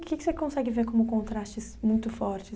O que que você consegue ver como contrastes muito fortes?